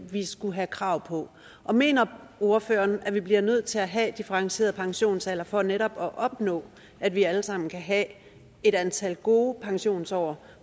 vi skulle have krav på og mener ordføreren at vi bliver nødt til at have differentieret pensionsalder for netop at opnå at vi alle sammen kan have et antal gode pensionsår